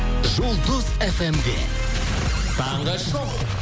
жұлдыз фм де таңғы шоу